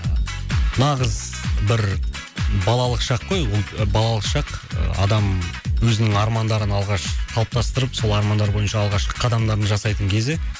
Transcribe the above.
нағыз бір балалық шақ қой ол балалық шақ ы адам өзінің армандарын алғаш қалыптастырып сол армандар бойынша алғашқы қадамдарын жасайтын кезі